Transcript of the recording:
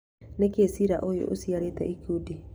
nĩkĩ cira ũyũ ũciarĩte ikundi?